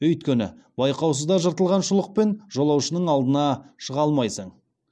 өйткені байқаусызда жыртылған шұлықпен жолаушының алдына шыға алмайсың